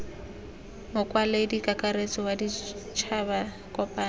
mokwaledi kakaretso wa ditšhaba kopano